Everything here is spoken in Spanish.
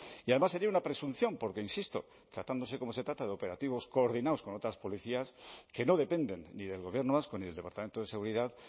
y además sería una presunción porque insisto tratándose como se trata de operativos coordinados con otras policías que no dependen ni del gobierno vasco ni del departamento de seguridad